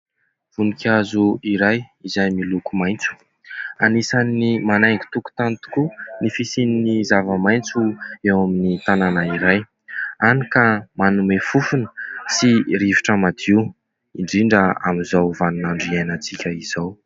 Vonikazo iray, izay miloko maitso. Anisan'ny manaingo tokontany tokoa ny fisian'ny zavamaitso eo amin'ny tanàna iray. Hany ka manome fofona sy rivotra madio, indrindra amin'izao vaninandro iainantsika izao.